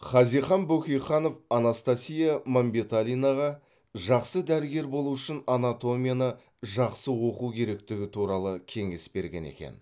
хазихан бөкейханов анастасия мәмбеталинаға жақсы дәрігер болу үшін анатомияны жақсы оқу керектігі туралы кеңес берген екен